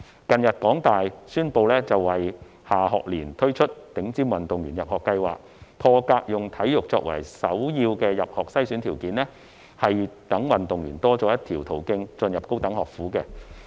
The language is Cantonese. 近日，香港大學宣布會在下學年推出頂尖運動員入學計劃，破格以體育作為首要的入學篩選條件，讓運動員多了一個入讀高等學府的途徑。